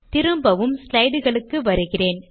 திரும்பவும் ஸ்லைடு களுக்கு வருகிறேன்